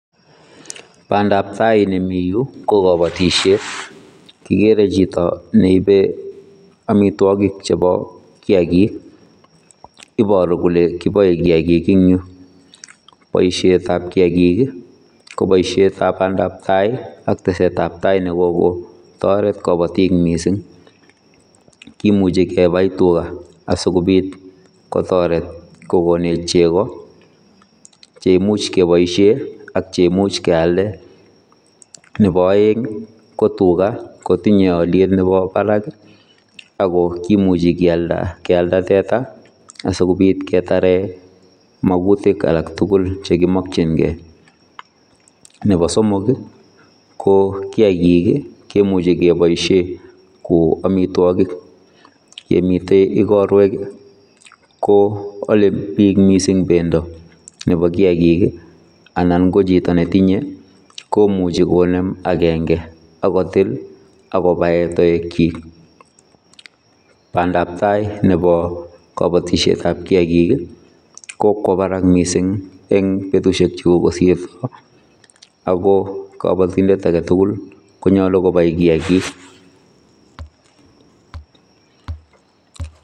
Bandaap tai nemii Yuu ii ko kabatisiet kigere chitoo neibee amitwagiik che bo kiagiik iboruu kole kiboe kiagiik en Yuu ,boisiet ab kiagiik ii ko baisheet ab bandap tai ak tesetai ab tai ne kokotaret kabatiik missing, kimuchei kebai tugaah asikobiit kotaret kogoneech chegoo cheimuuch kebaisheen ak komuuch keyaldaa, nebo aeng ii ko tugaah ko tinye aliet nebo barak ii ako komuchii keyaldaa tetaa sikobiit ketaren maguutik alaak tugul chekimakyingei ,nebo somok ii ko kiagiik ii kemuchei kebaisheen ko amitwagiik ye miten igorweek ii ko ale biik missing bendoo nebo kiagik ii anan ko chitoo ne tinyei komuchii konem agenge akotill akobaen taeg kyiik ,bandap tai agobo kabatisiet ab kiagiik ii ko kwa Barak missing ii en betusiek che kogosirto ago kabatindet age tugul ii konyaluu konai kiagik.